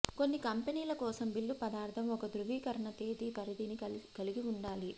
కొన్ని కంపెనీల కోసం బిల్లు పదార్థం ఒక ధ్రువీకరణ తేదీ పరిధిని కలిగి ఉండాలి